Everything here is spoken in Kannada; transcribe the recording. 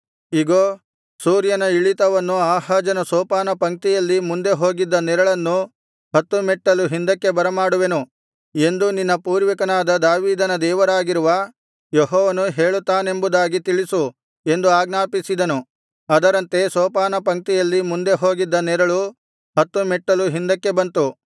ಇಗೋ ಸೂರ್ಯನ ಇಳಿತವನ್ನು ಆಹಾಜನ ಸೋಪಾನಪಂಕ್ತಿಯಲ್ಲಿ ಮುಂದೆ ಹೋಗಿದ್ದ ನೆರಳನ್ನು ಹತ್ತು ಮೆಟ್ಟಲು ಹಿಂದಕ್ಕೆ ಬರಮಾಡುವೆನು ಎಂದು ನಿನ್ನ ಪೂರ್ವಿಕನಾದ ದಾವೀದನ ದೇವರಾಗಿರುವ ಯೆಹೋವನು ಹೇಳುತ್ತಾನೆಂಬುದಾಗಿ ತಿಳಿಸು ಎಂದು ಆಜ್ಞಾಪಿಸಿದನು ಅದರಂತೆ ಸೋಪಾನಪಂಕ್ತಿಯಲ್ಲಿ ಮುಂದೆ ಹೋಗಿದ್ದ ನೆರಳು ಹತ್ತು ಮೆಟ್ಟಲು ಹಿಂದಕ್ಕೆ ಬಂತು